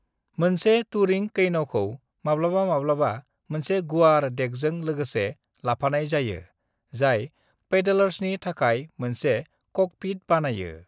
"मोनसे टूरिंग कैन'खौ माब्लाबा-माब्लाबा मोनसे गुवार डेकजों लोगोसे लाफानाय जायो, जाय पैडलर्सनि थाखाय मोनसे 'कॉकपिट' बानायो।"